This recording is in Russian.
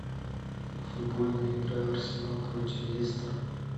футбольная игра арсенал против лестер